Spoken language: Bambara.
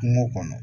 Kungo kɔnɔ